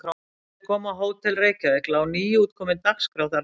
Þegar þeir komu á Hótel Reykjavík lá nýútkomin Dagskrá þar frammi.